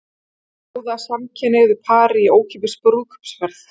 Bjóða samkynhneigðu pari í ókeypis brúðkaupsferð